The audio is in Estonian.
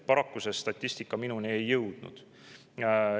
Paraku see statistika minuni ei ole jõudnud.